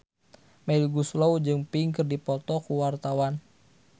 Melly Goeslaw jeung Pink keur dipoto ku wartawan